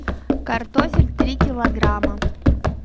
картофель три килограмма